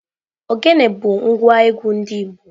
Ogene bu ngwa egwu ndi igbo.